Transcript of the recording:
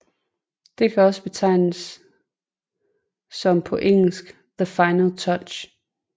Det kan også betegnes som på engelsk The Final Touch